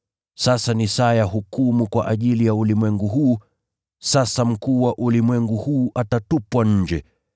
Sasa ni saa ya hukumu kwa ajili ya ulimwengu huu, sasa mkuu wa ulimwengu huu atatupwa nje.